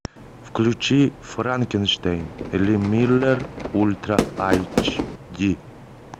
включи франкенштейн ли миллер ультра эйч ди